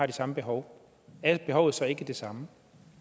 de samme behov er behovet så ikke det samme